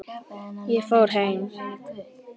Ég fór heim.